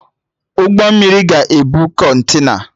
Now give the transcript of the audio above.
Ụgbọ mmiri ga-ebu Kọntena